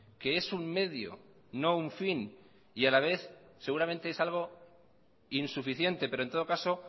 que es un medio no un fin y a la vez seguramente es algo insuficiente pero en todo caso